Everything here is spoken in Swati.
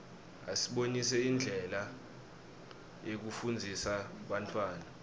asibonisa indlela yekufundzisa bantfwana